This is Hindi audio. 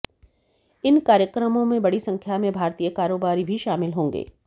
इन कार्यक्रमों में बड़ी संख्या में भारतीय कारोबारी भी शामिल होंगे